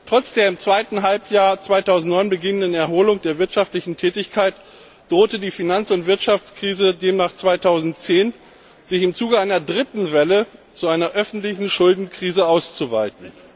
Trotz der im zweiten Halbjahr 2009 beginnenden Erholung der wirtschaftlichen Tätigkeit drohte die Finanz und Wirtschaftskrise demnach 2010, sich im Zuge einer dritten Welle zu einer öffentlichen Schuldenkrise auszuweiten.